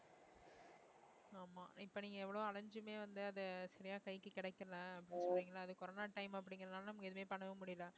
ஆமா இப்ப நீங்க எவ்ளோ அலைஞ்சுமே வந்து அத சரியா கைக்கு கிடைக்கல corona time அப்படிங்கறதுனால நம்ம எதுவுமே பண்ணவும் முடியல